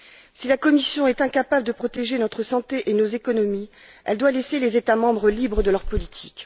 Si la Commission est incapable de protéger notre santé et nos économies, elle doit laisser les États membres libres de leur politique.